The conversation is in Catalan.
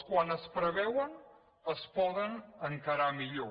quan es preveuen es poden encarar millor